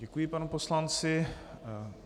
Děkuji panu poslanci.